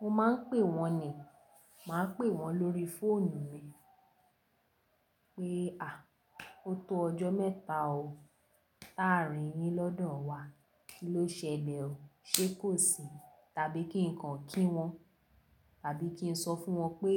Mo máa ń pè wọ́n ni. Máa pè wọ́n lórí fóònù mi, pé a o tó ọjọ́ mẹ́ta o, táà á rìn yín lọ́dọ̀ wa. Kí ló ṣẹlẹ̀ o? Ṣé kò sí, tàbí kí n kan kí wọ́n, tàbí kí n sọ fún wọn pé